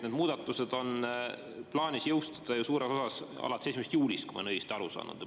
Need muudatused on plaanis jõustada ju suures osas 1. juulil, kui ma olen õigesti aru saanud.